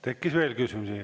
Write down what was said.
Tekkis veel küsimusi.